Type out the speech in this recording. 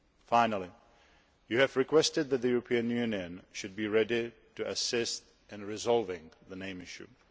Finally, you have requested that the European Union should be ready to assist in resolving the name issue.